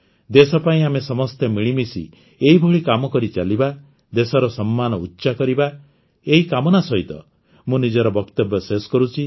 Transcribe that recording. ଦେଶ ପାଇଁ ଆମେ ସମସ୍ତେ ମିଳିମିଶି ଏଇଭଳି କାମ କରିଚାଲିବା ଦେଶର ସମ୍ମାନ ଉଚ୍ଚ କରିବା ଏଇ କାମନା ସହିତ ମୁଁ ନିଜର ବକ୍ତବ୍ୟ ଶେଷ କରୁଛି